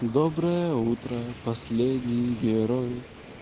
доброе утро последний герой